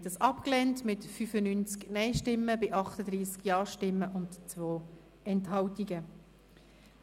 Sie haben das Postulat mit 95 Nein- zu 38 Ja-Stimmen bei 2 Enthaltungen abgelehnt.